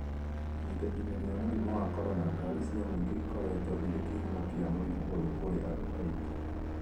Ihinda-inĩ rĩa mũrimũ wa corona, ngari cia mũingĩ ikoretwo irĩ kĩhumo kĩa mũrimũ ũyũ kũrĩ andũ aingĩ.